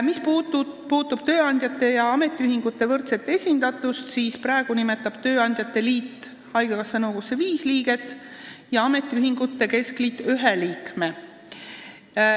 Mis puudutab tööandjate ja ametiühingute võrdset esindatust, siis praegu nimetab tööandjate liit haigekassa nõukogusse viis liiget ja ametiühingute keskliit ühe liikme.